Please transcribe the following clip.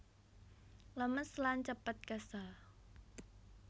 Lemes lan cepet kesel